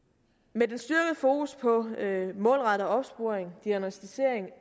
med den styrkede fokus på målrettet opsporing og diagnosticering